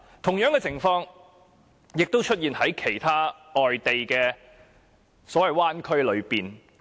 同樣的情況也在其他灣區出現。